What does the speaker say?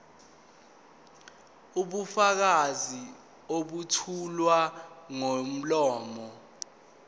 ubufakazi obethulwa ngomlomo